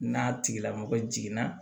N'a tigilamɔgɔ jiginna